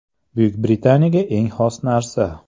Buyuk Britaniyaga eng xos narsa.